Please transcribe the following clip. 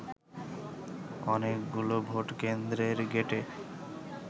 অনেকগুলো ভোটকেন্দ্রের গেটে